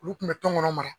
Olu kun bɛ tɔn kɔnɔ